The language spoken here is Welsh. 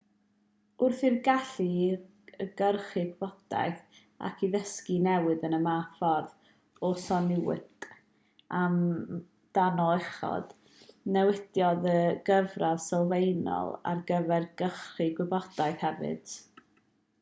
wrth i'r gallu i gyrchu gwybodaeth ac i ddysgu newid yn y fath ffordd a soniwyd amdano uchod newidiodd y gyfradd sylfaenol ar gyfer cyrchu gwybodaeth hefyd